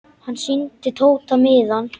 Hann sýndi Tóta miðann.